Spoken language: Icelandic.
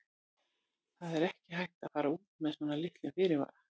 Það er ekki hægt að fara út með svona litlum fyrirvara.